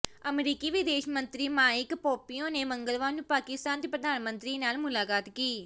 ਅਮਰੀਕੀ ਵਿਦੇਸ਼ ਮੰਤਰੀ ਮਾਇਕ ਪੋਂਪੀਓ ਨੇ ਮੰਗਲਵਾਰ ਨੂੰ ਪਾਕਿਸਤਾਨ ਦੇ ਪ੍ਰਧਾਨ ਮੰਤਰੀ ਨਾਲ ਮੁਲਾਕਾਤ ਕੀ